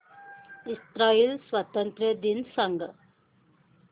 Israel स्वातंत्र्य दिन सांग